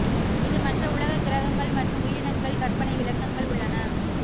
இது மற்ற உலக கிரகங்கள் மற்றும் உயிரினங்கள் கற்பனை விளக்கங்கள் உள்ளன